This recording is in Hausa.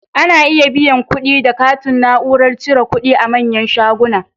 Ana iya biyan kuɗi da katin Na'urar cire kudi a manyan shuguna